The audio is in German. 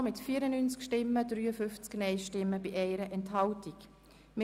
Sie haben die Planungserklärung 1b SAK mit 94 Ja- gegen 53 Nein-Stimmen bei 1 Enthaltung angenommen.